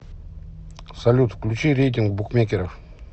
салют включи рейтинг букмекеров